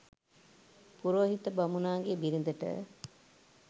පුරෝහිත බමුණාගේ බිරිඳට